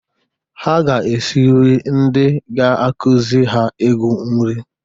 Ha ga-esiri ndị ga-akụzị ha egwu nrị.